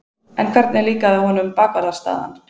En hvernig líkaði honum bakvarðarstaðan?